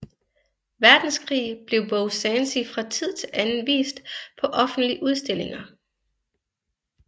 Verdenskrig blev Beau Sancy fra tid til anden vist på offentlige udstillinger